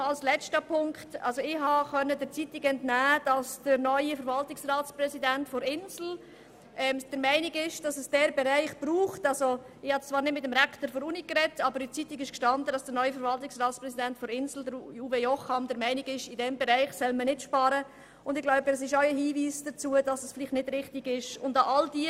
Noch ein letzter Punkt: Ich habe zwar nicht mit dem Rektor der Universität gesprochen, aber in der Zeitung stand, dass der neue Verwaltungsratspräsident der Insel, Uwe Jocham, der Meinung ist, dass man in diesem Bereich nicht sparen solle.